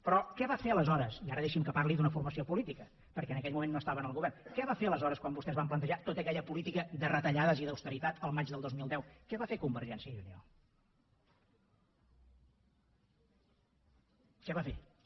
però què va fer aleshores i ara deixi’m que parli d’una formació política perquè en aquell moment no estava en el govern quan vostès van plantejar tota aquella política de retallades i d’austeritat el maig del dos mil deu què va fer convergència i unió què va fer sa